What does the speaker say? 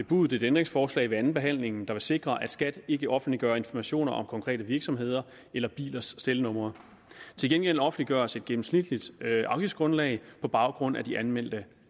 bebudet et ændringsforslag ved andenbehandlingen der vil sikre at skat ikke offentliggør informationer om konkrete virksomheder eller bilers stelnumre til gengæld offentliggøres et gennemsnitligt afgiftsgrundlag på baggrund af det anmeldte